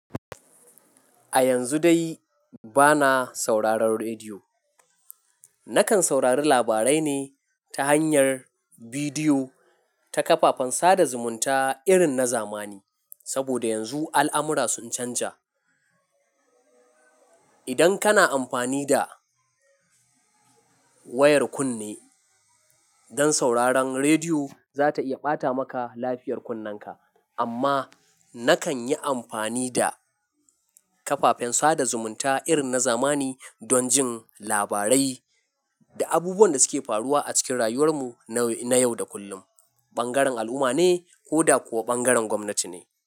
A yanzu dai bana sauraron rediyo. Nakan saurari labarai ne ta hanyar bidiyo ta kafafen sada zumunta irin na zamani. Saboda yanzu al'amura sun canja. Idan kana amfani da wayar kunne don sauraron rediyo, za ta iya ɓata maka lafiyar kunnenka. Amma nakan yi amfani da kafafen sada zumunta irin na zamani don jin labarai da abubuwan da suke faruwa a cikin rayuwar mu na yau da kullum, ɓangaren al'umma ne ko da kuwa ɓangaren gwamnati ne.